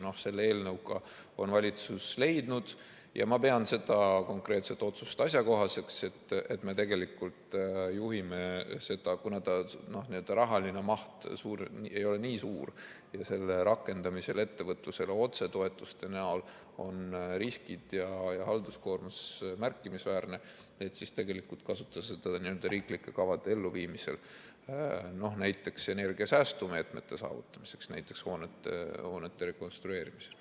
Selle eelnõuga on valitsus leidnud – ja ma pean seda konkreetset otsust asjakohaseks –, et me juhime seda, kuna see rahaline maht ei ole nii suur ja selle rakendamisel ettevõtlusele otsetoetustena on riskid ja halduskoormus märkimisväärsed, et tegelikult kasutada seda nende riiklike kavade elluviimisel, näiteks energiasäästu meetmete saavutamiseks hoonete rekonstrueerimisel.